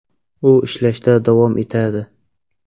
U ishlashda davom etadi.